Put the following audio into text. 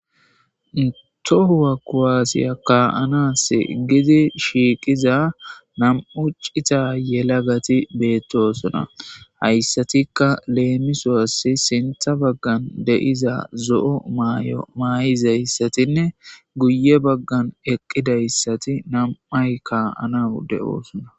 tohuwa kuwaasiya kaa7anas gidi shiiqiza nam7u ccita yelagati beettosona hayssatikka leemisowassi sintha baggan deyiza zo7o maay7o maay7izayssatinne guye baggan eqqidayssati nam7ay kaa7ana ude oosona